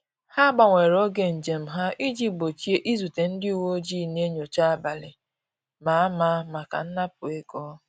Ha gbanwere oge njem ha iji gbochie izute ndị uweojii na-enyocha abalị a ma ama maka nnapu ego